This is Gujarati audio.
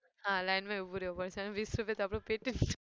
હા લાઈનમાં ઉભું રેવું પડશે અને વીસ રૂપિયાતો આપણું પેટએ